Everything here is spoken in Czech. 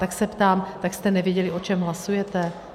Tak se ptám, tak jste nevěděli, o čem hlasujete?